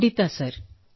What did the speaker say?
ಖಂಡಿತಾ ಸರ್